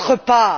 notre part.